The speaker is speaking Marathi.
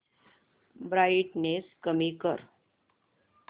ब्राईटनेस कमी कर